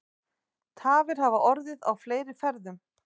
Tafir hafa orðið í fleiri ferðum